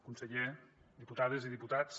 conseller diputades i diputats